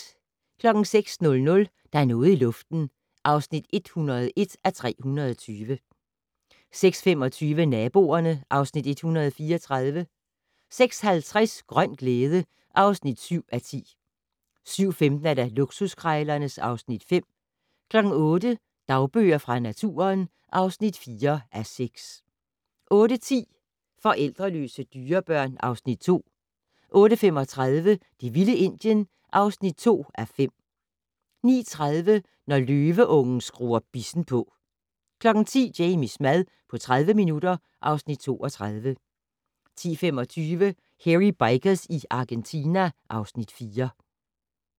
06:00: Der er noget i luften (101:320) 06:25: Naboerne (Afs. 134) 06:50: Grøn glæde (7:10) 07:15: Luksuskrejlerne (Afs. 5) 08:00: Dagbøger fra naturen (4:6) 08:10: Forældreløse dyrebørn (Afs. 2) 08:35: Det vilde Indien (2:5) 09:30: Når løveungen skruer bissen på 10:00: Jamies mad på 30 minutter (Afs. 32) 10:25: Hairy Bikers i Argentina (Afs. 4)